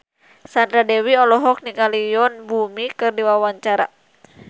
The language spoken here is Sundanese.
Sandra Dewi olohok ningali Yoon Bomi keur diwawancara